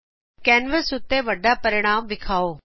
canvas ਉਤੇ ਜਿਆਦਾ ਤੋ ਜਿਆਦਾ ਹੱਲ ਵਿਖਾਓ